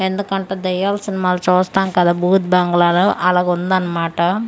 ఎందుకంట దయ్యాల సినిమాలు చూస్తాం కదా బూత్ బంగ్లాలో అలగుందన్నమాట.